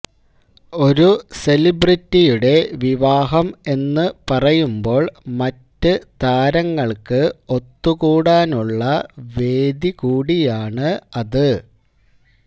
ഒരു സെലിബ്രിറ്റിയുടെ വിവാഹം എന്നു പറയുമ്പോൾ മറ്റ് താരങ്ങൾക്ക് ഒത്തുകൂടാനുള്ള വേദി കൂടിയാണ് അത്